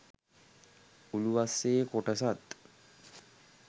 උළුවස්සේ කොටසත්